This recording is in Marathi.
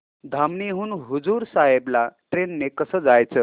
धामणी हून हुजूर साहेब ला ट्रेन ने कसं जायचं